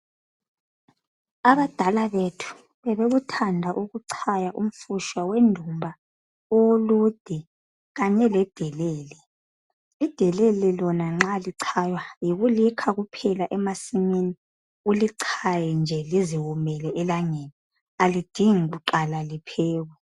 Abadala bethu bebekuthanda ukuchaya umfushwa wendumba owolude kanye ledelele idelele lona nxa li chaywa yikulikha nje emasimini ulichaye nje elangeni alidingi nje ukuqala liwome